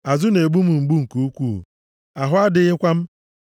Azụ na-egbu m mgbu nke ukwuu ahụ adịghịkwa m.